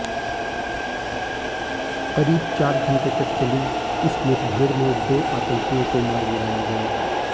करीब चार घंटे तक चली इस मुठभेड़ में दो आतंकियों को मार गिराया गया